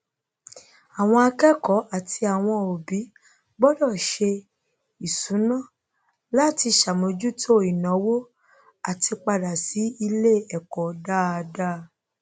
àwọn akẹkọọ àti àwọn òbí gbọdọ se ìṣúná láti sàmójútó ìnàwó àtípàdà sí iléẹkọ dáadá